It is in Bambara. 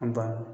A banna